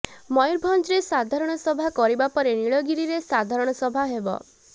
ମୟୁରଭଞ୍ଜରେ ସାଧରଣସଭା କରିବା ପରେ ନୀଳଗିରିରେ ସାଧରଣ ସଭା ହେବ